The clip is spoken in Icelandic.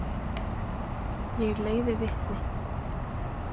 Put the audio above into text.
Ég leiði vitni.